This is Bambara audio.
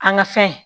An ka fɛn